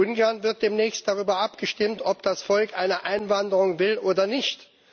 In Ungarn wird demnächst darüber abgestimmt, ob das Volk eine Einwanderung will oder nicht.